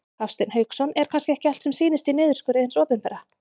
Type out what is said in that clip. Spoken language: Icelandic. Hafsteinn Hauksson: Er kannski ekki allt sem sýnist í niðurskurði hins opinbera?